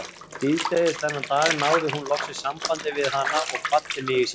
Síðdegis þennan dag náði hún loks sambandi við hana og kvaddi mig í símann.